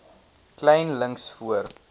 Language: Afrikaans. kleyn links voor